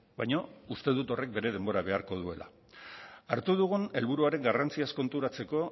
baina uste dut horrek bere denbora beharko duela hartu dugun helburuaren garrantziaz konturatzeko